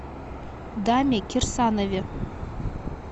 даме кирсанове